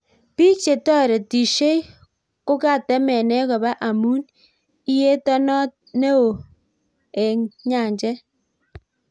Bik chetoretishei kokatemene koba amu iyeto neo eng nyanjet.